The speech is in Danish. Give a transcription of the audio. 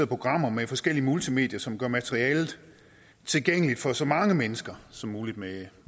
programmer med forskellige multimedier som gør materialet tilgængeligt for så mange mennesker som muligt med